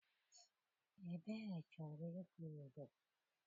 Ebere chọrọ ịgụ Igbo.